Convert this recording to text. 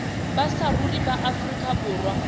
ba saruri ba afrika borwa